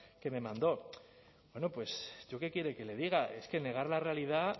que me mandó bueno pues yo qué quiere que le diga es que negar la realidad